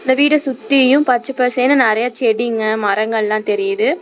இந்த வீட சுத்தியு பச்ச பசேன்னு நெறைய செடிங்க மரங்கெல்லா தெரியுது.